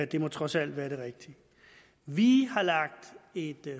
det må trods alt være det rigtige vi har lagt et